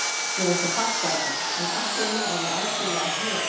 Ég er ekki að fatta þetta, en allt í einu er ég algjörlega hel